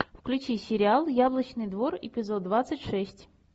включи сериал яблочный двор эпизод двадцать шесть